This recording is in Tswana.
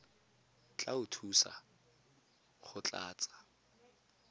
tla go thusa go tlatsa